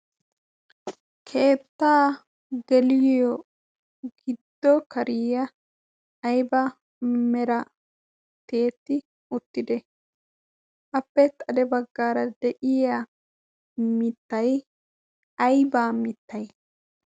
keettaa geeliyoo giiddo kaariyaa ayba meraa tiyyetti uttidee? appe kare baggaara de'iyaa miittay aybaa miittay?